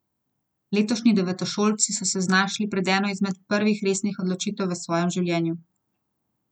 Letošnji devetošolci so se znašli pred eno izmed prvih resnih odločitev v svojem življenju.